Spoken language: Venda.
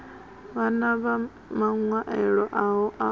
vhan a maṅwaelo aho u